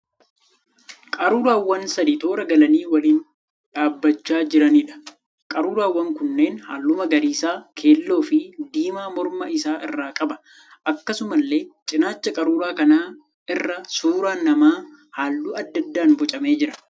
Qaruuraawwan sadii toora galanii waliin dhaabbachaa jiraniidha. Qaruuraan kunneen halluu magariisa, keelloo fi diimaa morma isaa irraa qaba. Akkasumallee cinaacha qaruuraa kanaa irra suuraan namaa halluu adda addaan bocamee jira.